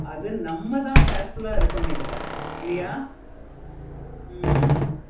அது நம்ம தான் careful ஆஹ் இருக்கணும் இதுல சரியாய ஹம்